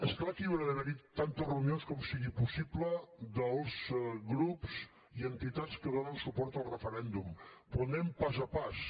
és clar que hi haurà d’haver tantes reunions com sigui possible dels grups i entitats que donen suport al referèndum però anem pas a pas